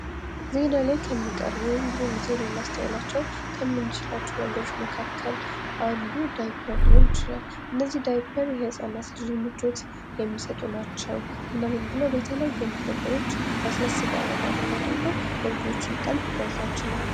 ዜና ላይ ከሚቀርቡ ወይም ብዙ ጊዜ ልናስተውላቸው ከምንችላቸው ነገሮች መካከል አንዱ ዳይፐር ሊሆን ይችላል ::እነዚህ የህጻን ልጆችን ምቾት የሚሰጡ ናቸው እናም ብለው በተለያዩ ነገሮች ለስላሳ አማረኛ አድርገው የልጆችን ቀለብ መግዛት ችለዋል ::